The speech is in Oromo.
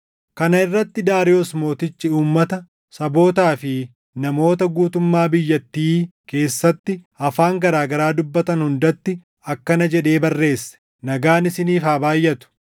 Kana irratti Daariyoos Mootichi uummata, sabootaa fi namoota guutummaa biyyattii keessatti afaan garaa garaa dubbatan hundatti akkana jedhee barreesse: “Nagaan isiniif haa baayʼatu!